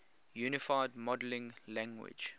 unified modeling language